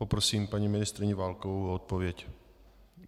Prosím paní ministryni Válkovou o odpověď.